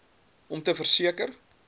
om te verseker